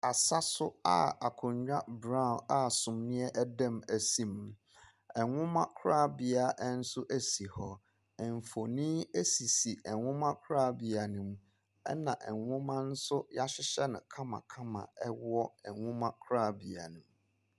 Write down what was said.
Asa so a akonnwa brown a sumiiɛ da mu si mu. Nwoma korabea nso si hɔ. Mfonin sisi nwomakorabea no mu. Ɛna nwoma nso wɔahyehyɛ no kamakam wɔ nwomakorabea no mu.